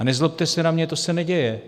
A nezlobte se na mě, to se neděje.